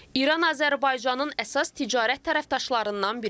İran Azərbaycanın əsas ticarət tərəfdaşlarından biridir.